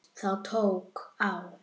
Það tók á.